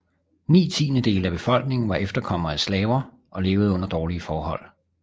Ni tiendedele af befolkningen var efterkommere af slaver og levede under dårlige forhold